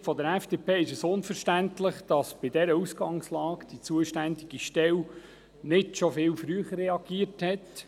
Aus Sicht der FDP ist es unverständlich, dass die zuständige Stelle bei dieser Ausgangslage nicht schon viel früher reagiert hat.